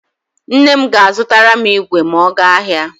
Nne m ga-azụtara m igwe ma ọ gaa ahịa.